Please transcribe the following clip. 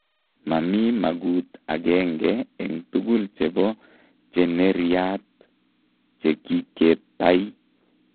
mami magut agenge eng tugul chepo cheneeryaat, che kiketay